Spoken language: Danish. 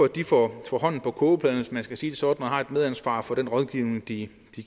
de får hånden på kogepladen hvis man kan sige det sådan og har et medansvar for den rådgivning de